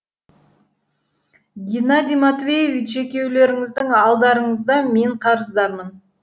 геннадий матвеевич екеулеріңіздің алдарыңызда мен